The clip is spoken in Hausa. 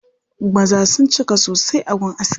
Maza sun cika sosai a gun askin.